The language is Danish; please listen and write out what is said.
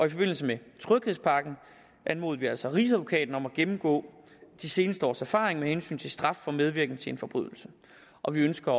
i forbindelse med tryghedspakken anmodede vi altså rigsadvokaten om at gennemgå de seneste års erfaring med hensyn til straf for medvirken til en forbrydelse og vi ønsker